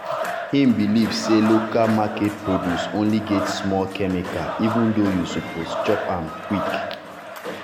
him believe say local market produce only get small chemical even though you suppose chop am quick.